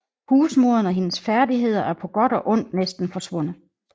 Husmoderen og hendes færdigheder er på godt og ondt næsten forsvundet